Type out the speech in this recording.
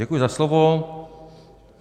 Děkuji za slovo.